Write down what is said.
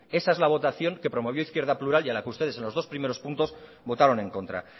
esa es la votación que promovió izquierda plural y a la que ustedes en los dos primeros puntos votaron en contra